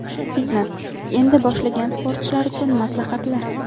Fitnes: endi boshlagan sportchilar uchun maslahatlar.